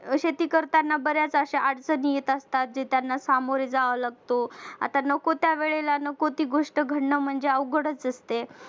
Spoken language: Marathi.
शेती करताना बऱ्याच अश्या अडचणी येत असतात जे त्यांना सामोरे जावे लागत आता नको त्या वेळेला नको ती गोष्ट घडणं म्हणजे अवघडच असते